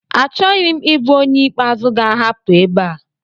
Achọghị m ịbụ onye ikpeazụ ga-ahapụ ebe a